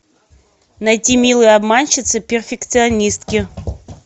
найти милые обманщицы перфекционистки